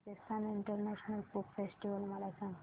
Rajasthan international folk festival मला सांग